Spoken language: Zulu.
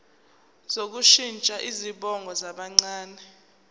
sokushintsha izibongo zabancane